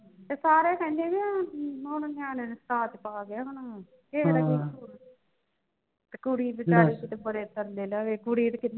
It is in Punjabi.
ਤੇ ਸਾਰੇ ਕਹਿੰਦੇ ਬਈ ਹੁਣ ਹੁਣ ਨਿਆਣਿਆਂ ਦੇ ਤੇ ਹੁਣ ਕਿਹੈ ਦਾ ਕੀ ਕਸੂਰ ਪਾ ਗਿਆ ਤੇ ਕੁੜੀ ਵਿਚਾਰੀ ਕਿਤਾ ਬੜੇ ਤਰਲੇ ਲਵੇ ਕੁੜੀ ਦੀ ਕਿਸਮਤ